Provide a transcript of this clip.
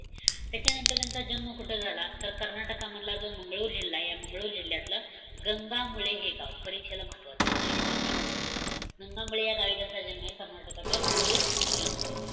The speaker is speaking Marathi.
त्याच्यानंतर त्यांचा जन्म कुठं झाला? तर, कर्नाटकामधला जो मंगळूर जिल्हा आहे. या मंगळूर जिल्ह्यातलं, गंगामूळे हे गाव. परीक्षेला महत्वाचं. परीक्षेसाठी important. गंगामूळे या गावी त्यांचा जन्मय. कर्नाटकातल्या मंगळूर जिल्ह्यामधलं.